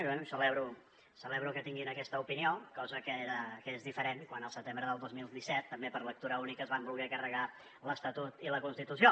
i bé celebro que tinguin aquesta opinió cosa que era diferent quan el setembre del dos mil disset també per lectura única es van voler carregar l’estatut i la constitució